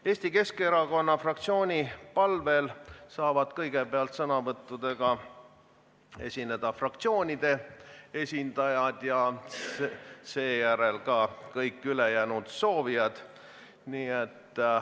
Eesti Keskerakonna fraktsiooni palvel saavad kõigepealt sõnavõtuga esineda fraktsioonide esindajad ja seejärel ka kõik ülejäänud soovijad.